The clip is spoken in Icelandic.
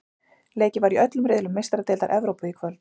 Leikið var í öllum riðlum Meistaradeildar Evrópu í kvöld.